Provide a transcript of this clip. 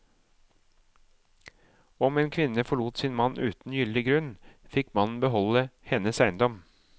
Om en kvinne forlot sin mann uten gyldig grunn, fikk mannen beholde hennes eiendom.